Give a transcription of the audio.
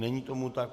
Není tomu tak.